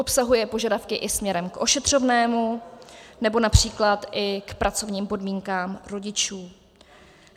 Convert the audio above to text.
Obsahuje požadavky i směrem k ošetřovnému nebo například i k pracovním podmínkám rodičů.